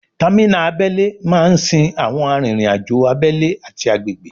Támínà abẹ́lé máa ń sin àwọn arìnriǹ-àjò abẹ́lé ati agbègbè